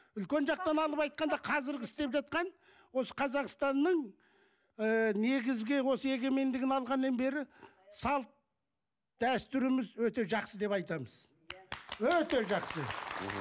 үлкен жақтан алып айтқанда қазіргі істеп жатқан осы қазақстанның ы негізгі осы егемендігін алғаннан бері салт дәстүріміз өте жақсы деп айтамыз өте жақсы